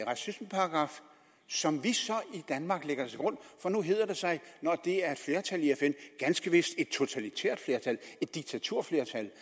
racismeparagraf som vi i danmark lægger til grund for nu hedder det sig at når det er et flertal i fn ganske vist et totalitært flertal et diktaturflertal